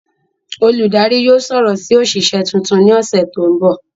Oludari yóò sọrọ si oṣiṣẹ tuntun ni ọsẹ to nbọ.